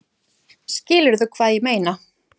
Skilurðu hvað ég meina?